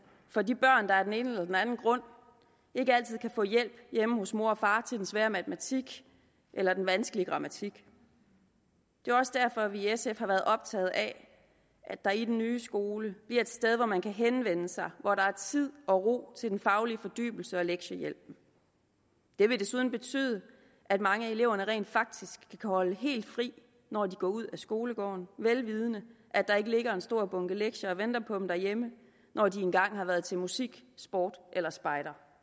for de børn der af den ene eller den anden grund ikke altid kan få hjælp hjemme hos mor og far til den svære matematik eller den vanskelige grammatik det er også derfor at vi i sf har været optaget af at der i den nye skole bliver et sted hvor man kan henvende sig hvor der er tid og ro til den faglige fordybelse og lektiehjælp det vil desuden betyde at mange af eleverne rent faktisk kan holde helt fri når de går ud af skolegården vel vidende at der ikke ligger en stor bunke lektier og venter på dem derhjemme når de engang har været til musik sport eller spejder